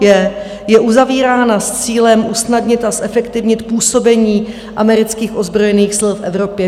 Je uzavírána s cílem usnadnit a zefektivnit působení amerických ozbrojených sil v Evropě.